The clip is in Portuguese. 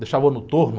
Deixava no torno.